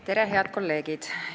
Tere, head kolleegid!